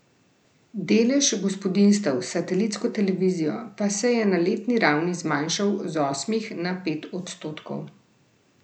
Delež gospodinjstev s satelitsko televizijo pa se je na letni ravni zmanjšal z osmih na pet odstotkov.